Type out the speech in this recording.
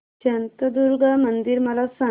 शांतादुर्गा मंदिर मला सांग